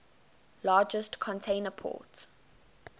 largest container port